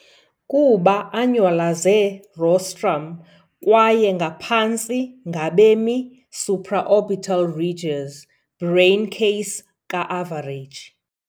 kuba anyhwalaze rostrum kwaye ngaphantsi ngabemi supraorbital ridges. - braincase ngu ka-avareji